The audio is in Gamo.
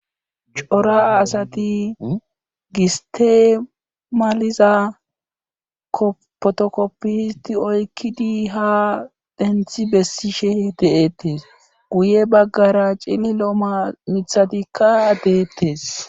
Cora asati gistemaliza kopotokoppi histi oykkidi ha denthi bessishe de7ettes guye baggara cililo mamithadikka adeettes